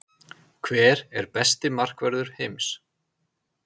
Hver er besti markvörður heims?